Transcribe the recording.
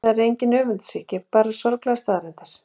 Þetta er engin öfundsýki, bara sorglegar staðreyndir.